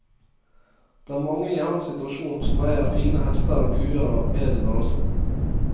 Det er mange i hans situasjon som eier fine hester og kuer av edel rase.